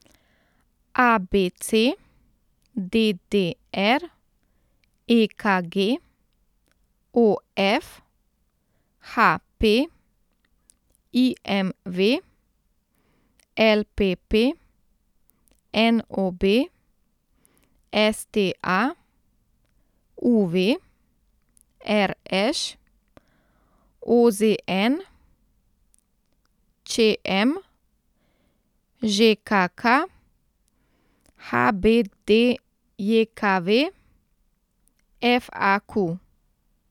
A B C; D D R; E K G; O F; H P; I M V; L P P; N O B; S T A; U V; R Š; O Z N; Č M; Ž K K; H B D J K V; F A Q.